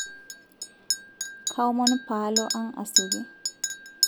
kaomon paalo ang asioki